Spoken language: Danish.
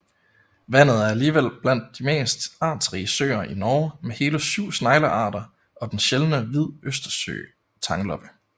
Vandet er alligevel blandt de mest artsrige søer i Norge med hele syv sneglearter og den sjældne Hvid østersøtangloppe